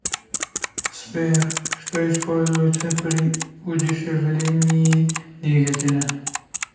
сбер что используется при удешевлении двигателя